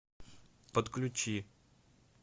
подключи